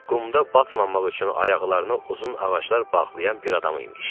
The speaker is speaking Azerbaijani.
Qumda batmamaq üçün ayaqlarına uzun ağaclar bağlayan bir adam imiş.